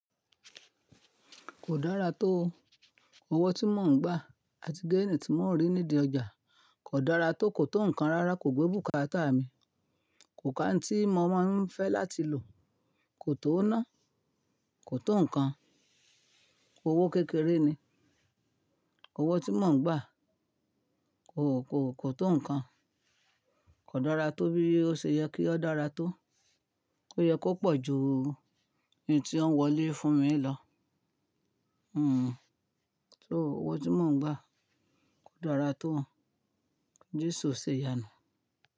Kò dára tó. Ọwọ́ tí mò ń gbà àti géènì tí mò ń rí nídìí ọjà kò dára tó, kò tó nǹkan rárá, kò gbé bùkátà mi, kò ká n tíì mo máa ń fẹ́ láti lò, kò tó ná, kò tó nǹkan, owó kékeré ni, owó tí mò ń gbà kò, kò, kò tó nǹkan, kò dára tó bí ó ṣe yẹ kí ó dára tó, ó yẹ kó pọ̀ ju n tí ó ń wọlé fún mi lọ. So owó tí mò ń gbà kò dára tó. Jésù o ṣe ìyànu.